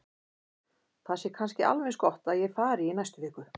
Það sé kannski alveg eins gott að ég fari í næstu viku.